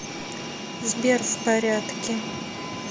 сбер в порядке